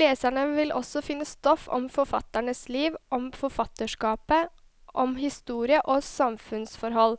Leserne vil også finne stoff om forfatternes liv, om forfatterskapet, om historie og samfunnsforhold,